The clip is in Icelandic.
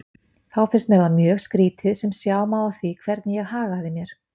Þá fannst mér það mjög skrýtið sem sjá má á því hvernig ég hagaði mér.